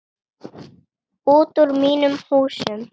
Út úr mínum húsum!